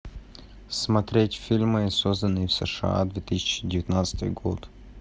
смотреть фильмы созданные в сша две тысячи девятнадцатый год